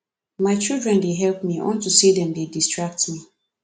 my children dey help me unto say dem dey distract me